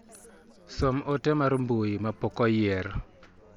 Som ote mar mbui ma pok oyier.